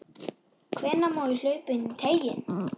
Hvenær má hlaupa inní teiginn?